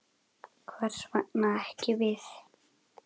Hvers vegna ekki við?